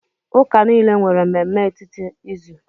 Ụka niile nwere mmemme etiti izu.